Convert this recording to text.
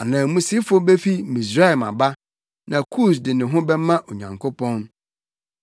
Ananmusifo befi Misraim aba, na Kus de ne ho bɛma Onyankopɔn.